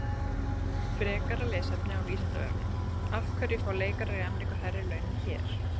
Frekara lesefni á Vísindavefnum: Af hverju fá leikarar í Ameríku hærri laun en hér?